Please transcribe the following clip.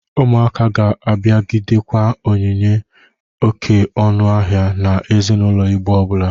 Ụmụaka ga-abụgidekwa onyinye oke ọnụ ahịa na ezinaụlọ Igbo ọbụla.